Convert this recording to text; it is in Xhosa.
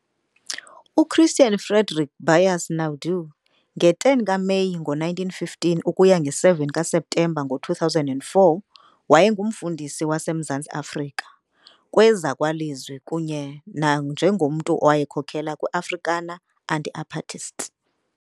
UChristiaan Frederick Beyers Naudé, nge-10 kaMeyi ngo-1915 ukuya nge-7 kaSeptemba ngo-2004, wayengumfundisi wase Mzantsi Afrika, kwezakwalizwi kunye nanjengomntu owayekhokela kwi-Afrikaner anti-apartist.